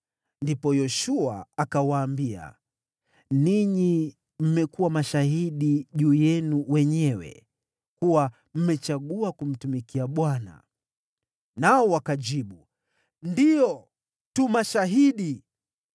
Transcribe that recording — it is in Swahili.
Ndipo Yoshua akawaambia, “Ninyi mmekuwa mashahidi juu yenu wenyewe kuwa mmechagua kumtumikia Bwana .” Nao wakajibu, “Ndiyo, tu mashahidi.”